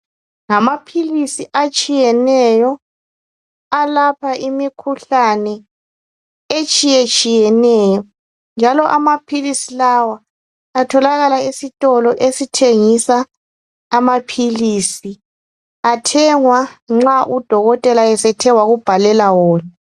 Ngamamphilisi atshiyeneyo alapha imikhuhlane etshiyetshiyeneyo, njalo amaphilisi lawa atholakala esitolo esithengisa amaphilisi. Athengwa nxa udokotela esethe wakubhalela wona.